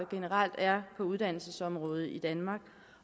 generelt er på uddannelsesområdet i danmark